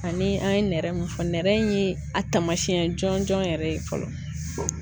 Ani an ye nɛrɛ mun fɔ, nɛrɛ ye a taamasiyɛn jɔnjɔn yɛrɛ ye fɔlɔ.